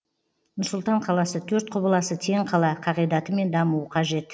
нұр сұлтан қаласы төрт құбыласы тең қала қағидатымен дамуы қажет